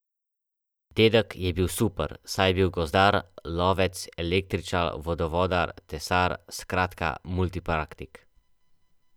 Dedek je bil super, saj je bil gozdar, lovec, električar, vodovodar, tesar, skratka multipraktik.